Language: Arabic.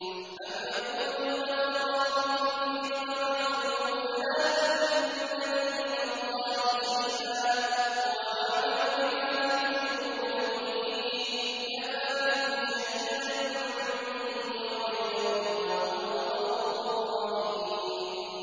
أَمْ يَقُولُونَ افْتَرَاهُ ۖ قُلْ إِنِ افْتَرَيْتُهُ فَلَا تَمْلِكُونَ لِي مِنَ اللَّهِ شَيْئًا ۖ هُوَ أَعْلَمُ بِمَا تُفِيضُونَ فِيهِ ۖ كَفَىٰ بِهِ شَهِيدًا بَيْنِي وَبَيْنَكُمْ ۖ وَهُوَ الْغَفُورُ الرَّحِيمُ